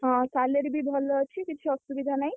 ହଁ salary ବି ଭଲ ଅଛି କିଛି ଅସୁବିଧା ନାହିଁ।